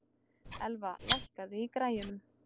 Elva, lækkaðu í græjunum.